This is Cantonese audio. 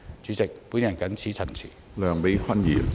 主席，我謹此陳辭。